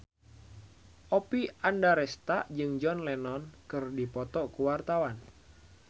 Oppie Andaresta jeung John Lennon keur dipoto ku wartawan